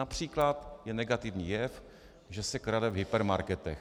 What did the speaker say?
Například je negativní jev, že se krade v hypermarketech.